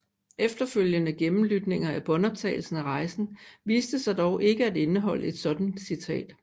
Efterfølgende gennemlytninger af båndoptagelsen af rejsen viste sig dog ikke at indeholde et sådant citat